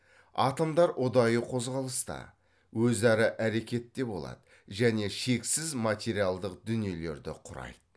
атомдар ұдайы қозғалыста өзара әрекетте болады және шексіз материалдық дүниелерді құрайды